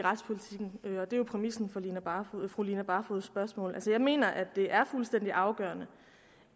retspolitikken og det er jo præmissen for fru line barfods spørgsmål jeg mener at det er fuldstændig afgørende